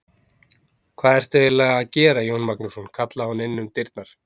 Hvað ertu eiginlega að gera Jón Magnússon, kallaði hún inn um dyrnar.